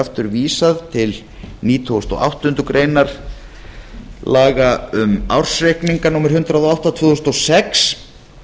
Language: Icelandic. aftur vísað til nítugasta og áttundu grein laga um ársreikninga númer hundrað og átta tvö þúsund og sex